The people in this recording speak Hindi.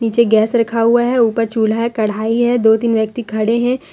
पीछे गैस रखा हुआ है ऊपर चूल्हा है कढ़ाई है दो तीन व्यक्ति खड़े हैं।